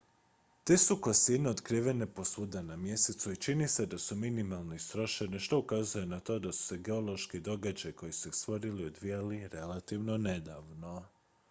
te su kosine otkrivene posvuda na mjesecu i čini se da su minimalno istrošene što ukazuje na to da su se geološki događaji koji su ih stvorili odvijali relativno nedavno